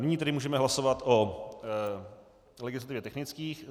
Nyní tedy můžeme hlasovat o legislativně technických.